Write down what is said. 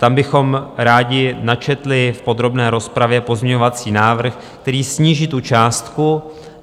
Tam bychom rádi načetli v podrobné rozpravě pozměňovací návrh, který sníží tu částku.